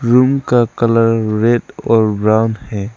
Room का colour red और brown है।